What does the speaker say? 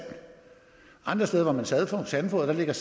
andre steder hvor man sandfodrer ligger